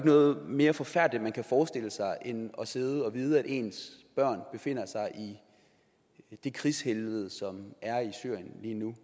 noget mere forfærdeligt man kan forestille sig end at sidde og vide at ens børn befinder sig i det krigshelvede som er i syrien lige nu